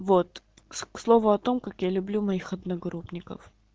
вот к слову о том как я люблю моих одногруппников